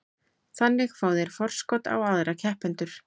Þannig fá þeir forskot á aðra keppendur.